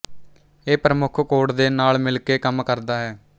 ਇਹ ਪ੍ਰਮੁੱਖ ਕੋਡ ਦੇ ਨਾਲ ਮਿਲ ਕੇ ਕੰਮ ਕਰਦਾ ਹੈ